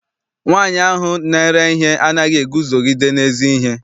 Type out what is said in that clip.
Nwaanyi ahụ na-ere ihe anaghị eguzogide n'ezi ihe.